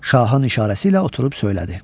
Şahın işarəsi ilə oturub söylədi.